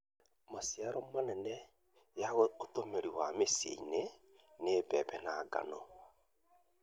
Maciaro manene ya ũtũmĩri wa mĩcii-inĩ nĩ mbembe na ngano.